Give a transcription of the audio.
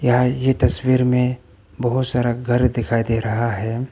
यह ये तस्वीर में बहोत सारा घर दिखाई दे रहा है।